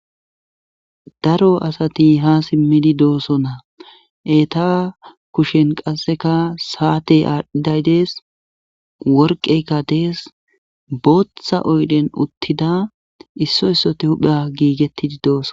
Daro asati ha simmidi doosona eta kushen qasseka saate aadhdhiday dees worqeykka dees booththa oydhen uttida issoy issote huphe giigettidi dooson.